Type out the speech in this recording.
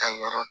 Ka yɔrɔ